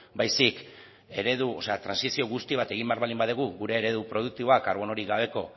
baizik eredu o sea trantsizio guzti bat egin behar baldin badugu gure eredu produktiboa karbonorik gabeko